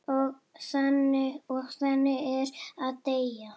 Og þannig er að deyja.